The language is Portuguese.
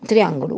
Triângulo.